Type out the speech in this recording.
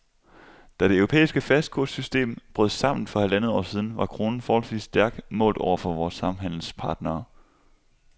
Da det europæiske fastkurssystem brød sammen for halvandet år siden, var kronen forholdsvis stærk målt over for vore samhandelspartnere.